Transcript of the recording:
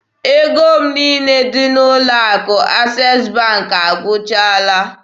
Ego m niile dị n'ụlọ akụ Access Bank agwụchaala